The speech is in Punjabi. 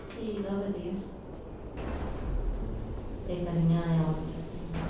ਠੀਕ ਆ ਵਧੀਆ ਇਕ ਵਾਰੀ ਨਿਆਣਿਆਂ ਵਲ ਮੈਂ ਕਿਹਾ ਛਾਤੀ ਮਾਰ ਲਵਾਂ